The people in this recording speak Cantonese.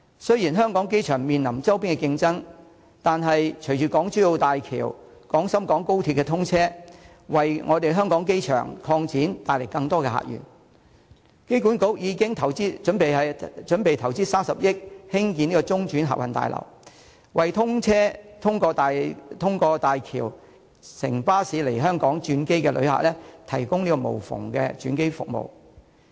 雖然香港機場面臨周邊的競爭，但隨着港珠澳大橋和廣深港高鐵通車，為香港機場擴展更多的客源，香港機場管理局已準備投資30億元興建中轉客運大樓，為通過大橋乘巴士來香港轉機的旅客提供無縫的轉機服務。